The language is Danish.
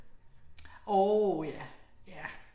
Orv ja, ja